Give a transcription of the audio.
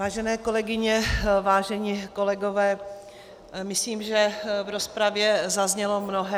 Vážené kolegyně, vážení kolegové, myslím, že v rozpravě zaznělo mnohé.